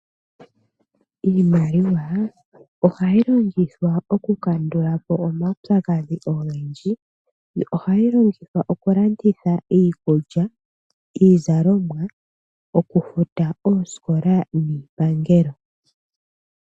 Iimaliwa oha yi longithwa oku kandulapo omaupyakadhi ogendji. Oha yi longithwa oku kandulapo omaupyakadhi ogendji. Oha yi longithwa oku landitha iikulya, iizalomwa, oku futa oosikola niipangelo.